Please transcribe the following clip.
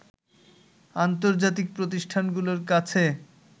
আন্তজার্তিক প্রতিষ্ঠানগুলোর কাছে